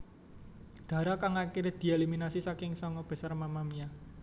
Dara kang akiré dieliminasi saka sanga besar Mamamia